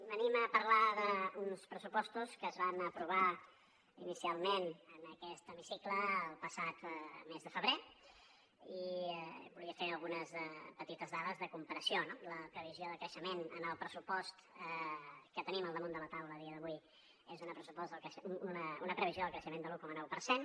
venim a parlar d’uns pressupostos que es van aprovar inicialment en aquest hemicicle el passat mes de febrer i volia fer algunes petites dades de comparació no la previsió de creixement en el pressupost que tenim al damunt de la taula a dia d’avui és una previsió de creixement de l’un coma nou per cent